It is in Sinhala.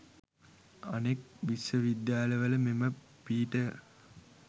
අනෙක් විශ්වවිද්‍යාලවල මෙම පීඨය